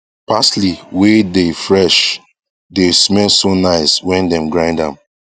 parsley wae dae fresh dae smell so nice when dem grind am